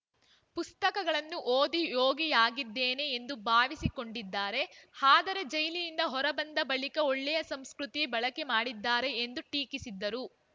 ಪುಸ್ತಕಗಳನ್ನು ಓದಿ ಯೋಗಿಯಾಗಿದ್ದೇನೆ ಎಂದು ಭಾವಿಸಿಕೊಂಡಿದ್ದಾರೆ ಆದರೆ ಜೈಲಿನಿಂದ ಹೊರಬಂದ ಬಳಿಕ ಒಳ್ಳೆಯ ಸಂಸ್ಕೃತಿ ಬಳಕೆ ಮಾಡಿದ್ದಾರೆ ಎಂದು ಟೀಕಿಸಿದರು